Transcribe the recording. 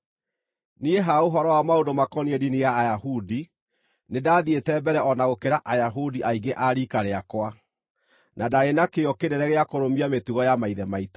Niĩ ha ũhoro wa maũndũ makoniĩ ndini ya Ayahudi, nĩ ndaathiĩte mbere o na gũkĩra Ayahudi aingĩ a riika rĩakwa na ndaarĩ na kĩyo kĩnene gĩa kũrũmia mĩtugo ya maithe maitũ.